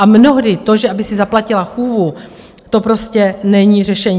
A mnohdy to, že aby si zaplatila chůvu, to prostě není řešení.